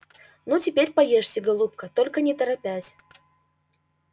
ну теперь поешьте голубка только не торопясь